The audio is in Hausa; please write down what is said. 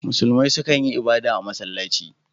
Musulmai su kan yi ibada a masallaci.